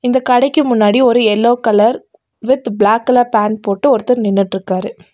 இந்த கடைக்கு முன்னாடி ஒரு yellow colour with black colour pant போட்டு ஒருத்தர் நின்னுட்ருக்காரு.